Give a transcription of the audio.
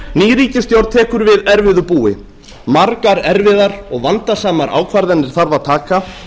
ný ríkisstjórn tekur við erfiðu búi margar erfiðar og vandasamar ákvarðanir þarf að taka